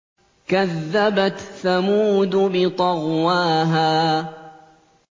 كَذَّبَتْ ثَمُودُ بِطَغْوَاهَا